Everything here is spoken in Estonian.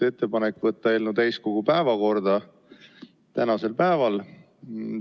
Ettepanek oli võtta eelnõu tänasel päeval täiskogu päevakorda.